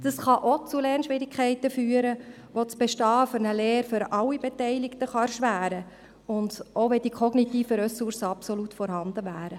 Dies kann auch zu Lernschwierigkeiten führen, die das Bestehen einer Lehre für alle Beteiligten erschweren können, auch wenn die kognitiven Ressourcen absolut vorhanden wären.